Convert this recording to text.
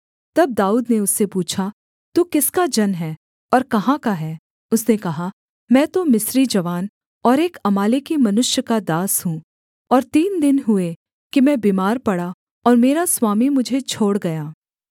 तब दाऊद ने उससे पूछा तू किसका जन है और कहाँ का है उसने कहा मैं तो मिस्री जवान और एक अमालेकी मनुष्य का दास हूँ और तीन दिन हुए कि मैं बीमार पड़ा और मेरा स्वामी मुझे छोड़ गया